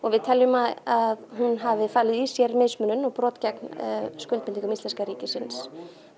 við teljum að hún hafi falið í sér mismunun og brot gegn skuldbindingum íslenska ríkisins